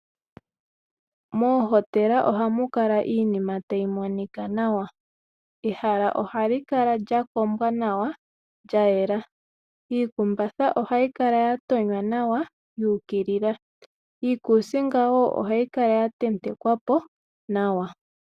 Moohotela oha mu kala iinima tayi monika nawa. Ehala ohali kala lya kombwa nawa, lya yela. Iikumbatha ohayi kala ya tonywa nawa yuukilila. Iikuusinga wo ohayi kala ya tentekwa po nawa.